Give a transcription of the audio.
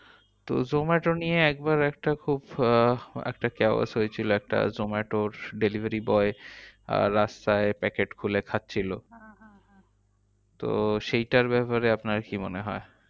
তো zomato নিয়ে একবার একটা খুব একটা chaos হয়েছিল একটা জোম্যাটোর delivery boy আহ রাস্তায় packet খুলে খাচ্ছিলো। তো সেইটার ব্যাপারে আপনার কি মনে হয়?